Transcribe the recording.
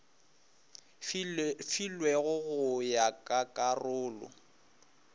filwego go ya ka karolo